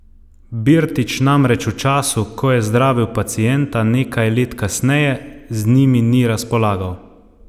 Birtič namreč v času, ko je zdravil pacienta nekaj let kasneje, z njimi ni razpolagal.